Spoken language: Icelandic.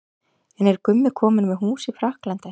En er Gummi kominn með hús í Frakklandi?